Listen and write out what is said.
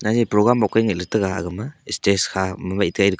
e program mok ka ni taga aga ma stage kha ma wai te--